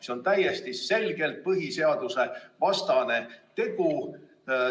See on täiesti selgelt põhiseadusevastane tegu.